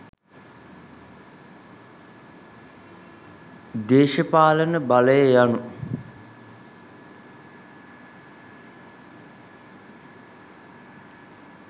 දේශපාලන බලය යනු